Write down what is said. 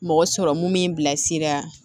Mɔgɔ sɔrɔ mun b'i bilasira